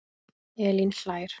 Elín hlær.